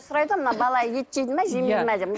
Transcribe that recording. сұрайды ғой мына бала ет жейді ме жемейді ме деп